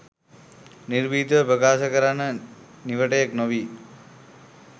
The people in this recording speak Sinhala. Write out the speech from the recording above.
නිර්භීතව ප්‍රකාශ කරන්න නිවටයෙක්‍ නොවී